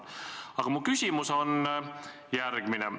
Aga mu küsimus on järgmine.